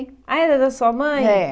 Ah, era da sua mãe? É